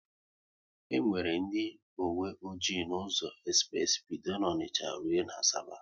E nwere ndị owe ọjị n'ụzọ espress bido n'Onicha rụọ n'Asaba